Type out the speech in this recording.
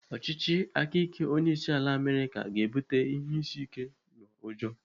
Ọchịchị aka ike onyeisiala Amerịka ga-ebute ihe isi ike na ụjọ.